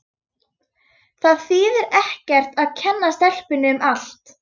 Það þýðir ekkert að kenna stelpunni um allt.